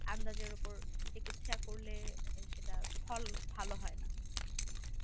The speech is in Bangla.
আন্দাজের উপর চিকিৎসা করলে সেটার ফল ভাল হয় না